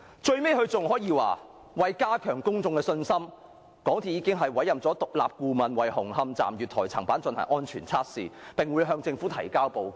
最後，該聲明更說"為加強公眾的信心，公司早前已委任獨立顧問為紅磡站月台層板進行安全測試，並會向政府提交報告。